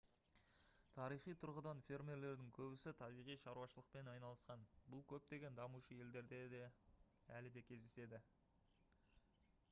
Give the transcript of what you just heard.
тарихи тұрғыдан фермерлердің көбісі табиғи шаруашылықпен айналысқан бұл көптеген дамушы елдерде әлі де кездеседі